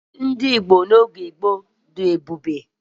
Chi ndị Igbo n'oge gboo bụ nke oke iwe.